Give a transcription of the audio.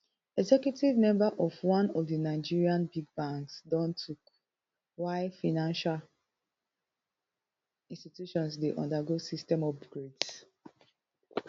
executive member of one of nigerian big banks don tok why financial institutions dey undergo system upgrades